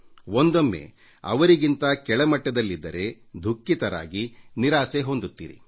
ಒಂದೊಮ್ಮೆ ಅವರಿಗಿಂತ ಕೆಳಮಟ್ಟಕ್ಕಿದ್ದರೆ ದುಃಖಿತರಾಗಿ ನಿರಾಸೆ ಹೊಂದುತ್ತೀರಿ